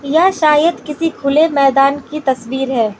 यह शायद किसी खुले मैदान की तस्वीर है।